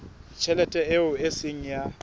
tjhelete eo e seng ya